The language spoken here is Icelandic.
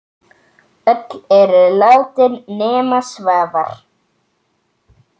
Öll eru látin nema Svavar.